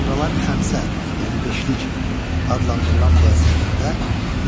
Sonralar Xəmsə, yəni beşlik adlandırılan bu əsərlərdə